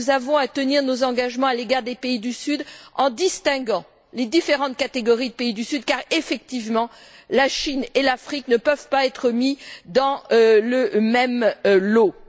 Nous avons à tenir nos engagements à l'égard des pays du Sud, en distinguant les différentes catégories de pays du Sud car, effectivement, la Chine et l'Afrique ne peuvent pas être mises dans le même lot.